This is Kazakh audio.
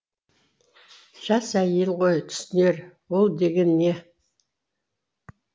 жас әйел ғой түсінер ол деген не